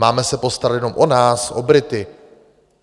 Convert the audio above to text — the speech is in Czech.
Máme se postarat jenom o nás, o Brity...